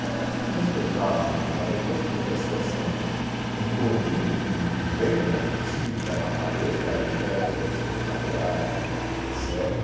Também a turma não respeitava muito, mas depois que começou a ser um, um produto de de venda, o desfile carnavalesco, aí tiveram que ser respeitado o horário, etcetera